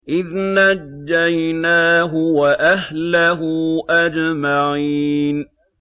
إِذْ نَجَّيْنَاهُ وَأَهْلَهُ أَجْمَعِينَ